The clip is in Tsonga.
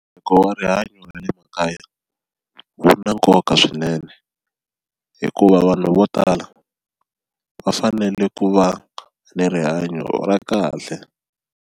wa rihanyo ra le makaya wu na nkoka swinene hikuva vanhu vo tala va fanele ku va ni rihanyo ra kahle.